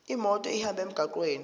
imoto ihambe emgwaqweni